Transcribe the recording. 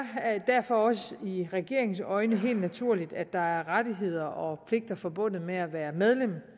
derfor også i regeringens øjne helt naturligt at der er rettigheder og pligter forbundet med at være medlem